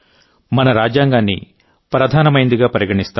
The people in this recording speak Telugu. మన రాజ్యాంగాన్ని ప్రధానమైందిగా పరిగణిస్తాం